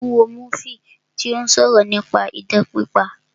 Mo ń wo múfì tí ó sọ̀rọ̀ nípa idán pípa